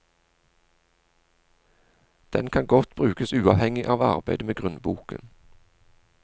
Den kan godt brukes uavhengig av arbeidet med grunnboken.